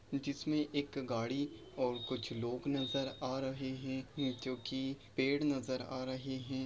जिसमे एक गाड़ी और कुछ लोग नजर आ रहे हैं जोकि पेड़ नजर आ रहे हैं ।